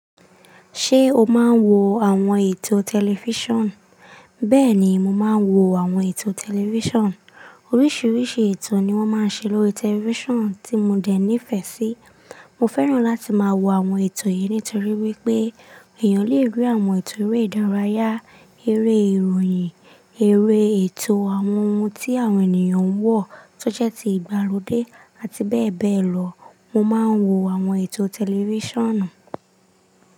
Ṣé o máa ń wo àwọn ètò tẹlifíṣàn? Bẹ́ẹ̀ ni, mo máa ń wo àwọn ètò tẹlifíṣàn. Oríṣiríṣi ètò ni wọ́n máa ń ṣe lórí tẹlifíṣàn tí mo dè ní ìfẹ́ sí. Mo fẹ́ràn láti máa wo àwọn ètò yìí nítorí wípé èèyàn lè rí àwọn ètò eré ìdárayá, eré ìròyìn, eré ètò àwọn ohun tí àwọn ènìyàn ń wọ̀ tó jẹ́ ti ìgbàlódé àti bẹ́ẹ̀ bẹ́ẹ̀ lọ. Mo máa ń wo àwọn ètò tẹlifíṣànnù.